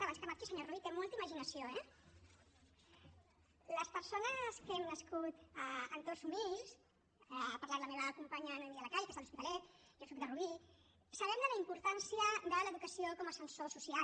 abans que marxi senyor rull té molta imaginació eh les persones que hem nascut a entorns humils ha parlat la meva companya noemí de la calle que és de l’hospitalet jo soc de rubí sabem la importància de l’educació com a ascensor social